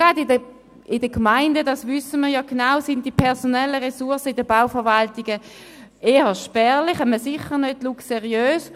Gerade in den Gemeinden – das wissen wir doch genau –, sind die personellen Ressourcen in den Bauverwaltungen eher spärlich, sicher nicht luxuriös.